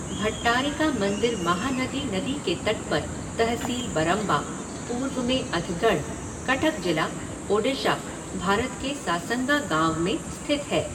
भट्टारिका मंदिर महानदी नदी के तट पर, तहसील बरंबा, पूर्व में अथगढ़, कटक जिला, ओडिशा, भारत के सासंगा गाँव में स्थित है।